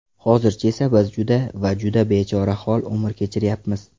Hozircha esa biz juda va juda bechorahol umr kechiryapmiz.